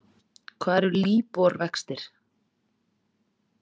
Hvað eru LIBOR vextir?